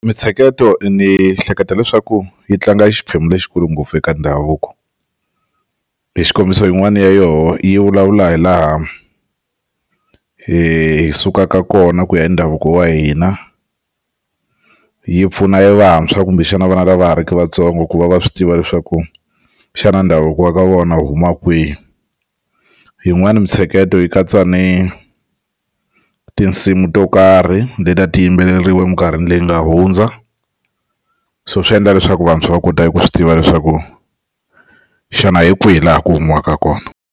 Mintsheketo ni hleketa leswaku yi tlanga xiphemu lexikulu ngopfu eka ndhavuko hi xikombiso yin'wana ya yona yi vulavula hi laha hi sukaka kona ku ya hi ndhavuko wa hina yi pfuna evantshwa kumbexana vana lava ha ri ki vatsongo ku va va swi tiva leswaku xana ndhavuko wa ka vona huma kwihi yin'wani mitsheketo yi katsa ni tinsimu to karhi leti a ti yimbeleriwa eminkarhini leyi nga hundza so swi endla leswaku vantshwa va kota ku swi tiva leswaku xana hi kwihi laha ku humiwaka kona.